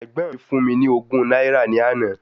Ẹ̀gbọ́n mi fún mi ní ogún náírà ní àná.